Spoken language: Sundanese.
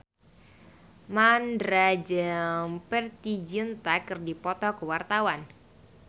Mandra jeung Preity Zinta keur dipoto ku wartawan